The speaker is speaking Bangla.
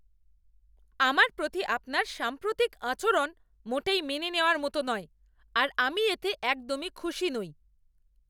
আমার প্রতি আপনার সাম্প্রতিক আচরণ মোটেই মেনে নেওয়ার মতো নয় আর আমি এতে একদমই খুশি নই।